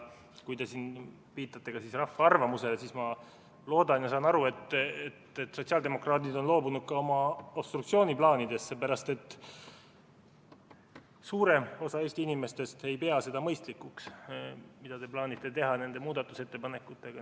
Kui te siin viitate rahva arvamusele, siis ma loodan ja saan aru, et sotsiaaldemokraadid on loobunud ka oma obstruktsiooniplaanidest, sest suurem osa Eesti inimestest ei pea mõistlikuks seda, mida te plaanite teha nende muudatusettepanekutega.